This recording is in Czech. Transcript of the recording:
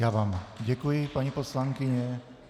Já vám děkuji, paní poslankyně.